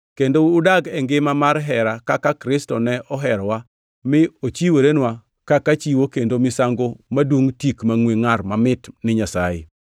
kendo udag e ngima mar hera kaka Kristo ne oherowa mi ochiworenwa kaka chiwo kendo misango madungʼ tik mangʼwe ngʼar mamit ni Nyasaye.